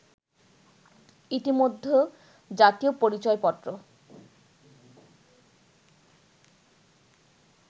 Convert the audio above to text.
ইতিমধ্যে জাতীয় পরিচয়পত্র